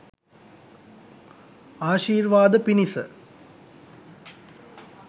ආශීර්වාද පිණිස